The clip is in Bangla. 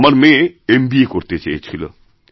আমার মেয়েএম বি এ করতে চেয়েছিল